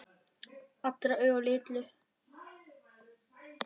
Allra augu litu til hennar.